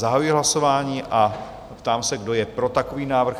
Zahajuji hlasování a ptám se, kdo je pro takový návrh?